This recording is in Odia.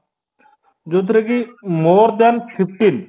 ଯୋଉଥିରେକି more than fifteen